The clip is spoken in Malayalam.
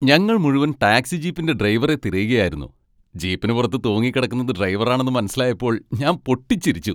ഞങ്ങൾ മുഴുവൻ ടാക്സി ജീപ്പിന്റെ ഡ്രൈവറെ തിരയുകയായിരുന്നു, ജീപ്പിന് പുറത്ത് തൂങ്ങിക്കിടക്കുന്നത് ഡ്രൈവറാണെന്ന് മനസിലായപ്പോൾ ഞാൻ പൊട്ടിച്ചിരിച്ചു.